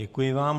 Děkuji vám.